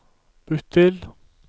bytt til